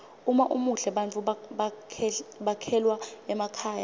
uma umuhle bantfu bekhelwa emakhaya